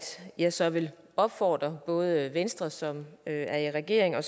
jeg så vil opfordre både venstre som er i regering og